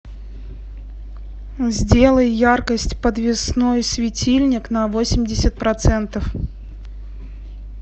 сделай яркость подвесной светильник на восемьдесят процентов